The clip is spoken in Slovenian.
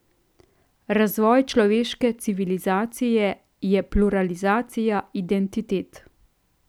Razvoj človeške civilizacije je pluralizacija identitet.